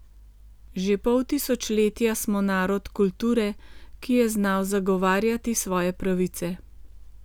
Že pol tisočletja smo narod kulture, ki je znal zavarovati svoje pravice.